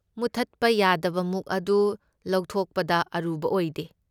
ꯃꯨꯠꯊꯠꯄ ꯌꯥꯗꯕ ꯃꯨꯛ ꯑꯗꯨ ꯂꯧꯊꯣꯛꯄꯗ ꯑꯔꯨꯕ ꯑꯣꯏꯗꯦ꯫